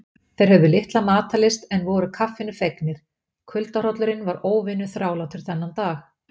Þeir höfðu litla matarlyst en voru kaffinu fegnir, kuldahrollurinn var óvenju þrálátur þennan dag.